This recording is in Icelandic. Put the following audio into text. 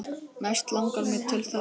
Mest langar mig til þess.